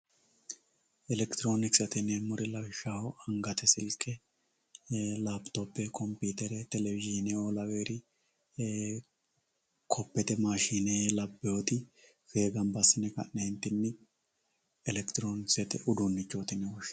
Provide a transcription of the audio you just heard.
elekitiroonikisete yineemmoti lawishshaho angate silke lapitope kompiitere telewizhiine lawewoori koppete maashine labbewooti fee ganba assine ka'neentinni elekitiroonikisete uduunnichooti yine woshshinanni.